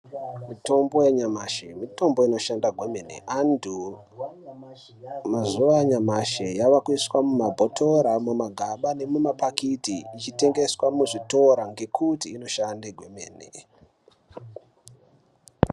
Mitombo yanyamashi mitombo inoshanda kwemene, anthu mazuva anyamashi yavakuiswa mumabhotoro kana mumagaba nemumapakiti ichitengeswa muzvitoro ngekuti inoshande kwemene.